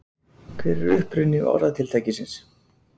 Hver er uppruni orðatiltækisins?